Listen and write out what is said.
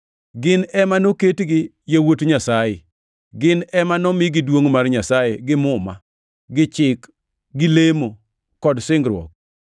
Gin ema noketgi yawuot Nyasaye; gin ema nomigi duongʼ mar Nyasaye gi muma, gi chik, gi lemo, kod singruok.